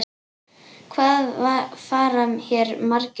Hvað fara hér margir um?